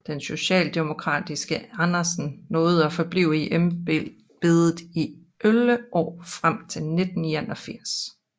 Den socialdemokratiske Andersen nåede at forblive i embedet i 11 år frem til 1981